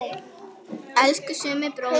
Elsku Summi bróðir.